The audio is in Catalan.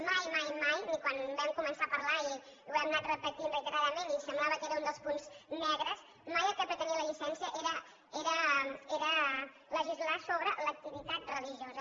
mai mai mai ni quan en vam començar a parlar i ho hem anat repetint reiteradament i semblava que era un dels punts negres mai el que pretenia la llicència era legislar sobre l’activitat religiosa